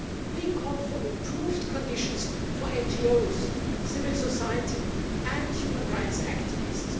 We call for improved conditions for NGOs, civil society and human rights activists.